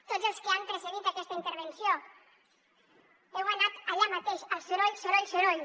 tots els que han precedit aquesta intervenció heu anat allà mateix al soroll soroll soroll